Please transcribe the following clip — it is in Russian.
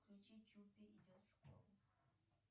включи чупи идет в школу